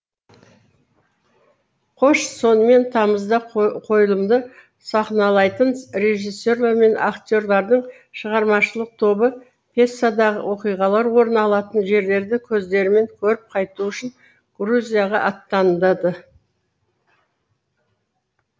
қош сонымен тамызда қойылымды сахналайтын режиссерлер мен актерлардың шығармашылық тобы пьесадағы оқиғалар орын алатын жерлерді көздерімен көріп қайту үшін грузияға аттанады